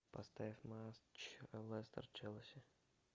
поставь матч лестер челси